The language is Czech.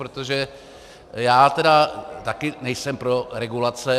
Protože já tedy také nejsem pro regulace.